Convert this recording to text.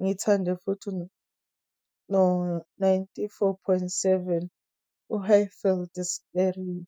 Ngithande futhi, no-ninety-four point seven, u-Highveld Stereo.